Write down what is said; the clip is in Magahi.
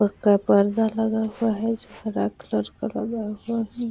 पर्दा लगा हुआ है जो हरा कलर का लगा हुआ है।